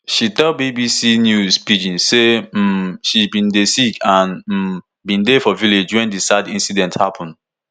she tell bbc news pidgin say um she bin dey sick and um bin dey for village wen di sad incident happun